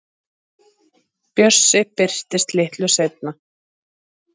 Bjössi birtist litlu seinna.